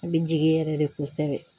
An bɛ jigin yɛrɛ de kosɛbɛ